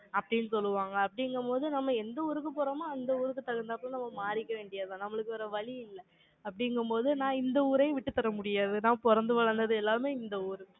அப்படின்னு சொல்லுவாங்க. அப்படிங்கும்போது, நம்ம எந்த ஊருக்கு போறோமோ, அந்த ஊருக்கு தகுந்தாப்ல, நம்ம மாறிக்க வேண்டியதுதான். நம்மளுக்கு வேற வழி இல்லை அப்படிங்கும்போது, நான் இந்த ஊரையும் விட்டுத்தர முடியாது. நான் பிறந்து வளர்ந்தது எல்லாமே, இந்த ஊரு.